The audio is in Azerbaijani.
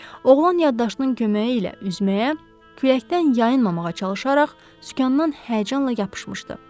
Oğlan yaddaşının köməyi ilə üzməyə, küləkdən yayınmamağa çalışaraq sükandan həyəcanla yapışmışdı.